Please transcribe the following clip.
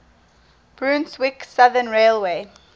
brunswick southern railway